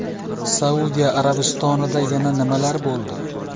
Saudiya Arabistonida yana nimalar bo‘ldi?